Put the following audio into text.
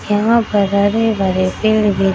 यहाँ पर हरे-भरे पेड़ दिख --